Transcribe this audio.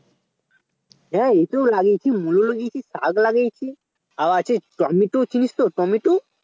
হ্যাঁ লাগিয়েছি মুলো লাগিয়েছি শাক লাগিয়েছি আর আছে টমেটো চিনিস তো টমেটো